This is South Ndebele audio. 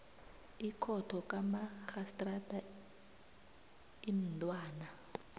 ikhotho kamarhistrada imntwana